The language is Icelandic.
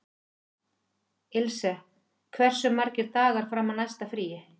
Ilse, hversu margir dagar fram að næsta fríi?